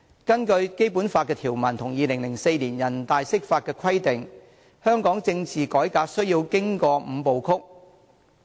根據《基本法》條文和2004年人大釋法的規定，香港政治改革需要經過"五步曲"。